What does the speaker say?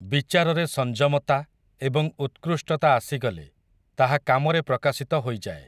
ବିଚାରରେ ସଂଯମତା, ଏବଂ ଉକ୍ତୃଷ୍ଟତା ଆସିଗଲେ, ତାହା କାମରେ ପ୍ରକାଶିତ ହୋଇଯାଏ ।